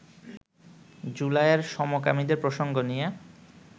জুলাইয়ে সমকামীদের প্রসঙ্গ নিয়ে